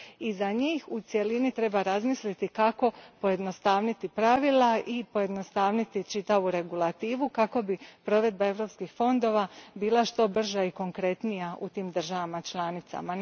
I za njih u cjelini treba razmisliti kako pojednostaviti pravila i pojednostaviti čitavu regulativu kako bi provedba europskih fondova bila što brža i konkretnija u tim državama članicama.